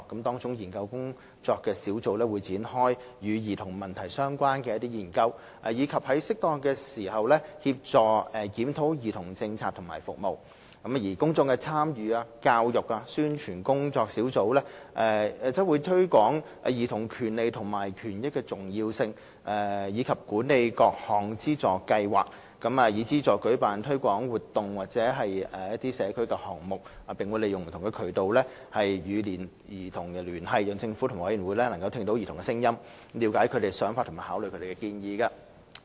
當中的研究工作小組會展開與兒童問題相關的研究，以及在適當時協助檢討兒童政策和服務，而公眾參與、教育及宣傳工作小組則會推廣兒童權利和權益的重要性，以及管理各項資助計劃，以資助舉辦推廣活動或社區項目，並會利用不同渠道與兒童聯繫，讓政府及委員會聆聽兒童的聲音，了解他們的想法和考慮他們的建議。